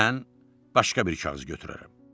Mən başqa bir kağız götürərəm.